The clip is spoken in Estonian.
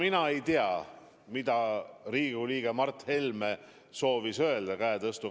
Mina ei tea, mida Riigikogu liige Mart Helme soovis öelda, kui ta käe tõstis.